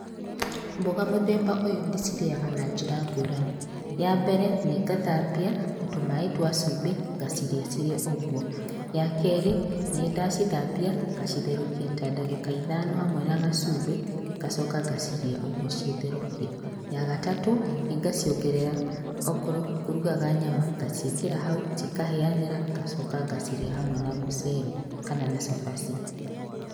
Mboga mũthemba ũyũ ndĩcirĩaga na njĩra ngũrani. Ya mbere nĩ ngathambia na tũmaĩ twa cumbĩ, ngacirĩa cirĩ ũguo. Ya kerĩ, ndacithambia ngacitherũkia ta ndagĩka ithano hamwe na gacumbĩ, ngacoka ngacirĩa ũguo citherũkie. Ya gatatũ, nĩ ngaciongerera, okorwo ngũrugaga nyama ngaciĩkĩra hau, cikahĩanĩra, ngacoka ngacirĩa hamwe na mũcere kana na cabaci.